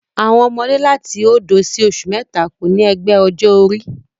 Àwọn ọmọdé láti òdo sí oṣù mẹ́ta kò ní ẹgbẹ́ ọjọ́ orí